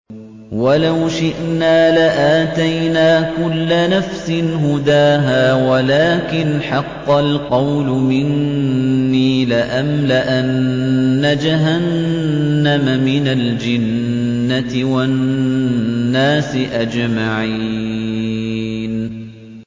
وَلَوْ شِئْنَا لَآتَيْنَا كُلَّ نَفْسٍ هُدَاهَا وَلَٰكِنْ حَقَّ الْقَوْلُ مِنِّي لَأَمْلَأَنَّ جَهَنَّمَ مِنَ الْجِنَّةِ وَالنَّاسِ أَجْمَعِينَ